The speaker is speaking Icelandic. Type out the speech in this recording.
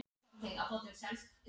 Sá strákur varð manni að bana.